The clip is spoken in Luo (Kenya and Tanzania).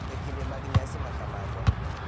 e kinde mag nyasi ma kamago,